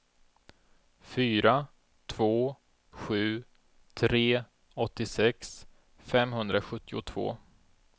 fyra två sju tre åttiosex femhundrasjuttiotvå